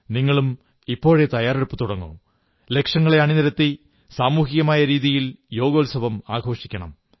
നിങ്ങളും ഇപ്പോഴേ തയ്യാറെടുപ്പു തുടങ്ങൂ ലക്ഷങ്ങളെ അണിനിരത്തി സമൂഹികമായ രീതിയിൽ യോഗോത്സവം ആഘോഷിക്കണം